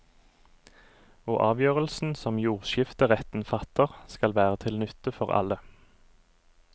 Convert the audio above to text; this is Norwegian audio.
Og avgjørelsen som jordskifteretten fatter, skal være til nytte for alle.